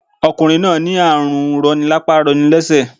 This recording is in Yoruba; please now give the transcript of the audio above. Ọkùnrin rin náà ní àrùn roni lápá roni lésè